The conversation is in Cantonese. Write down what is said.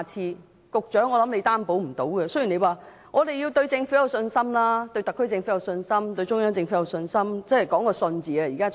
我想局長無法擔保，雖然他叫大家對政府有信心，對特區政府有信心，對中央政府有信心，真的是講求一個"信"字。